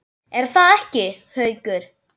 Er það ekki, Haukur?